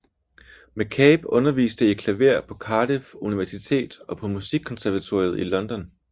McCabe underviste i klaver på Cardiff Universitet og på Musikkonservatoriet i London